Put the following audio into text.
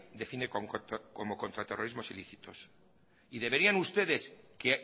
define como contraterrorismos ilícitos y deberían ustedes que